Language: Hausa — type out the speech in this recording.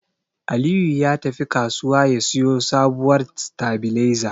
Aliyu ya tafi kasuwa ya siyo sabuwar sitabiliza.